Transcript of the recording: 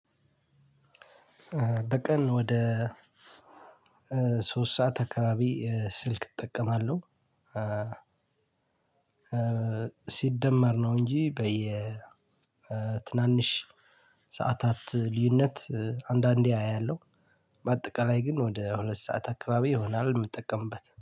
በቀን ወደ ሶስት ሰዓት አካባቢ ስልክ እጠቀማለሁ። ሲደመር ነው እንጂ በየ ትናንሽ ሰዓታት ልዩነት አንዳንዴ አያለሁ። በአጠቃላይ ግን ወደ ሁለት ሰዓት አካባቢ ይሆናል የምጠቀምበት